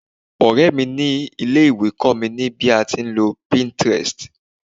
ọrẹ mi ni ilé ìwé kó mi ni a ti nlo pinterest